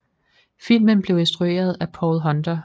Filmen blev instrueret af Paul Hunter